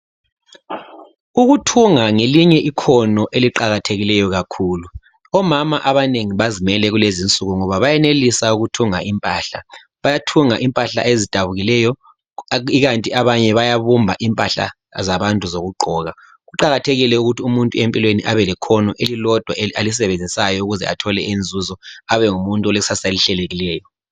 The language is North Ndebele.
Ukuthunga ngelinye ikhono eliqakatheke kakhulu. Omama abanengi bazimele kulezinsuku ngoba bayenelisa ukuthunga impahla. Bayathunga impahla ezidabukileyo ikanti abanye bayabumba impahla zabantu zokugqoka. Kuqakathekile ukuthi umuntu empilweni abelekhono elilodwa alisebenzisayo ukuze athole inzuzo abengumuntu olekusasa elihlelekileyo.